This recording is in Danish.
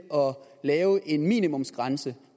lave en minimumsgrænse